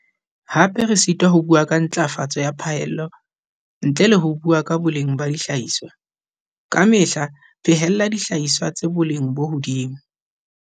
Hape re sitwa ho bua ka ntlafatso ya phaello ntle le ho bua ka boleng ba dihlahiswa. Ka mehla phehella dihlahiswa tsa boleng bo hodimo.